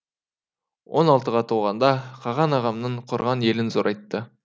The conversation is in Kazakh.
он алтыға толғанда қаған ағамның құрған елін зорайтты